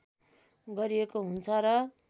गरिएको हुन्छ र